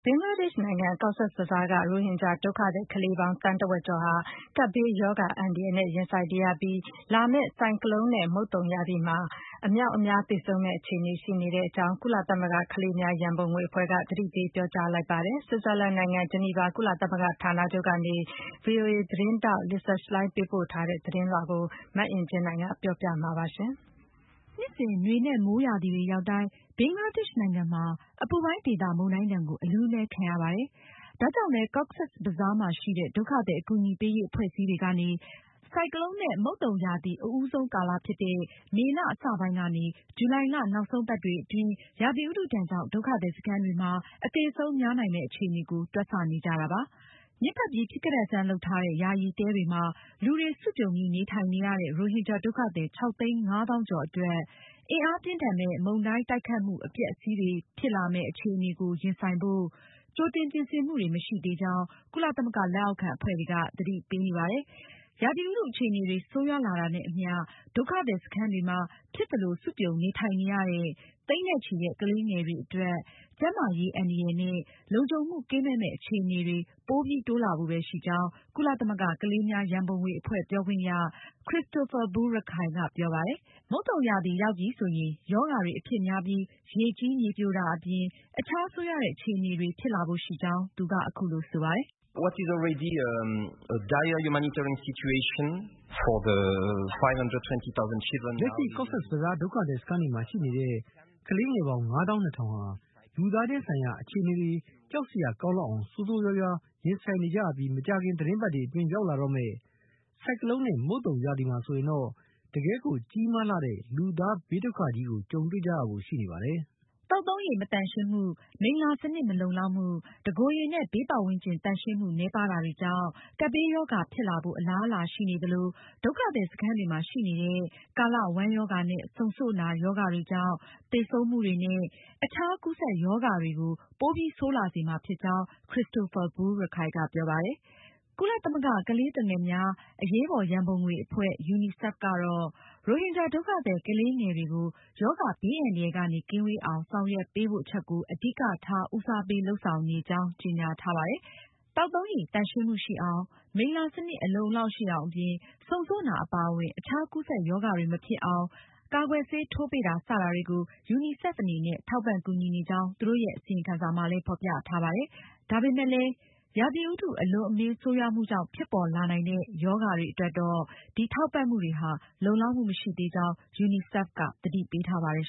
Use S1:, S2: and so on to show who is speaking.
S1: ဘင်္ဂလားဒေ့ရှ်နိုင်ငံ Cox’s Bazar က ရိုဟင်ဂျာဒုက္ခသည်ကလေးငယ်ပေါင်း သန်းတဝက်ကျော်ဟာ ကပ်ဘေးရောဂါ အန္တရာယ်နဲ့ ရင်ဆိုင်နေရပြီး လာမယ့် ဆိုင်ကလုန်နဲ့ မုတ်သုန်ရာသီမှာ အမြောက်အများ သေဆုံးမယ့် အခြေအနေရှိနေကြောင်း ကုလသမဂ္ဂကလေးများရံပုံငွေ အဖွဲ့က သတိပေးပြောကြားလိုက်ပါတယ်။ ဆွစ်ဇာလန်နိုင်ငံ ဂျီနီဗာ ကုလသမဂ္ဂဌာနချုပ်ကနေ ဗွီအိုအေ သတင်းထောက် Lisa Schlein ပေးပို့ထားတဲ့ သတင်းလွှာကို မအင်ကြင်းနိုင်က ပြောပြမှာပါ။ နှစ်စဉ်
S2: နွေနဲ့ မိုးရာသီတွေရောက်တိုင်း ဘင်္ဂလားဒေ့ရှ်နိုင်ငံမှာ အပူပိုင်းဒေသ မုန်တိုင်းဒဏ်ကို အလူးအလဲခံရပါတယ်။ ဒါကြောင့်လည်း Cox’s Bazar မှာရှိတဲ့ ဒုက္ခသည်အကူအညီပေးရေးအဖွဲ့အစည်းတွေကနေ ဆိုင်ကလုန်နဲ့ မုတ်သုန်ရာသီ အဦးဆုံးကာလဖြစ်တဲ့ မေလ အစပိုင်းကနေ ဇူလိုင်လ နောက်ဆုံးပတ်တွေအတွင်း ရာသီဥတုဒဏ်ကြောင့် ဒုက္ခသည်စခန်းတွေမှာ အသေအဆုံးများနိုင်မယ့် အခြေအနေကို တွက်ဆနေကြတာပါ။ ညစ်ပတ်ပြီး ဖြစ်ကတတ်ဆန်း လုပ်ထားတဲ့ ယာယီတဲတွေမှာ လူတွေစုပြုံပြီး နေထိုင်နေရတဲ့ရိုဟင်ဂျာ ဒုက္ခသည် ၆၅၀,၀၀၀ ကျော်အတွက် အင်အားပြင်းထန်မယ့် မုန်တိုင်း တိုက်ခတ်မှု အပျက်အစီးတွေဖြစ်လာမယ့် အခြေအနေကို ရင်ဆိုင်ဖို့ကြိုတင်ပြင်ဆင်မှုတွေ မရှိသေးကြောင်း ကုလသမဂ္ဂလက်အောက်ခံအဖွဲ့တွေက သတိပေးနေပါတယ်။ ရာသီဥတု အခြေအနေတွေဆိုးရွားလာတာနဲ့အမျှ ဒုက္ခသည်စခန်းတွေမှာ ဖြစ်သလို စုပြုံ နေထိုင်နေရတဲ့ သိန်းနဲ့ချီတဲ့ ကလေးငယ်တွေအတွက် ကျန်းမာရေးအန္တရာယ်နဲ့ လုံခြုံမှု ကင်းမဲ့မယ့် အခြေအနေတွေ ပိုပြီးတိုးလာဖို့ပဲရှိကြောင်း ကုလသမဂ္ဂ ကလေးများရံပုံငွေအဖွဲ့ ပြောခွင့်ရ Christophe Boulierac ကပြောပါတယ်။ မုတ်သုန်ရာသီရောက်ပြီဆိုရင် ရောဂါတွေအဖြစ်များပြီး ရေကြီး မြေပြိုတာ အပြင် အခြား ဆိုးရွာတဲ့အခြေအနေတွေဖြစ်လာဖို့ရှိကြောင်း သူက အခုလို ဆိုပါတယ်။ “လက်ရှိ Cox’s Bazar က ဒုက္ခသည်စခန်
S3: းတွေမှာရှိနေတဲ့ ကလေးပေါင်း ၅၂၀,၀၀ ဟာ လူသားချင်းဆိုင်ရာ အခြေအနေတွေ ကြောက်စရာကောင်းလောက်အောင်ဆိုးဆိုးရွားရွား ရင်ဆိုင်နေရပြီး မကြာခင် သီတင်းပတ်တွေအတွင်း ရောက်လာတော့မယ့် ဆိုင်ကလုန်နဲ့ မုတ်သုန်ရာသီမှာဆိုရင်တော့ တကယ့်ကိုကြီးမားလှတဲ့ လူသားဘေးဒုက္ခကြီ
S2: းကို တွေ့ကြုံရဖို့ရှိနေပါတယ်။” သောက်သုံးရေမသန့်ရှင်းမှု၊ မိလ္လာစနစ် မလုံလောက်မှု၊ တကိုယ်ရေနဲ့ ဘေးပတ်ဝန်းကျင်သန့်ရှင်းမှု နည်းပါးတာတွေကြောင့် ကပ်ဘေးရောဂါဖြစ်လာဖို့ အလားအလာရှိနေသလို ဒုက္ခသည်စခန်းတွေမှာရှိနေတဲ့ ကာလဝမ်းရောဂါနဲ့ ဆုံဆို့နာ ရောဂါတွေကြောင့် သေဆုံးမှုတွေနဲ့ အခြားကူးစက်ရောဂါတွေကို ပိုပြီး ဆိုးရွားလာစေမှာဖြစ်ကြောင်း Christophe Boulierac က ပြောပါတယ်။ ကုလသမဂ္ဂ ကလေးသူငယ်များအရေးပေါ်ရံပုံငွေအဖွဲ့ UNICEF အနေနဲ့လည်း ရိုဟင်ဂျာဒုက္ခသည်ကလေးတွေကို ရောဂါဘေးအန္တရာယ်ကနေ ကင်းဝေးအောင် ဆောင်ရွက်ပေးဖို့ အချက်ကို အဓိက ဦးစားပေးလုပ်ဆောင်နေကြောင်း ကြေညာထားပါတယ်။ သောက်သုံးရေသန့်ရှင်းမှုရှိအောင်၊ မိလ္လာစနစ်အလုံအလောက်ရှိအောင် အပြင် ဆုံဆို့နာအပါအဝင် အခြားကူးစက်ရောဂါတွေမဖြစ်အောင် ကာကွယ်ဆေးထိုးပေးတာ စတာတွေကို UNICEF အနေနဲ့ ထောက်ပံကူညီနေကြောင်း သူတို့ရဲ့ အစီရင်ခံစာမှာလည်း ဖေါ်ပြထားပါတယ်။ ဒါပေမယ့်လည်း ရာသီဥတုအလွန်အမင်းဆိုးရွားမှုကြောင့် ဖြစ်ပေါ်လာနိုင်တဲ့ ရောဂါတွေအတွက် ဒီထောက်ပံမှုတွေဟာ လုံလောက်မှုမရှိသေးကြောင်း UNICEF ကသတိပေးထားပါတယ်